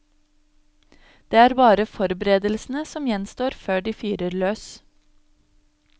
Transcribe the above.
Det er bare forberedelsene som gjenstår før de fyrer løs.